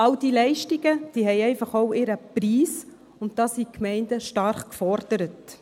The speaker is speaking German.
All diese Leistungen haben einfach auch ihren Preis, und da sind die Gemeinden stark gefordert.